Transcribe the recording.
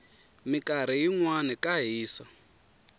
minkarhi yinwana ka hisa